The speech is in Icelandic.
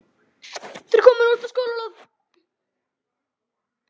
Þau eru komin út á skólalóð.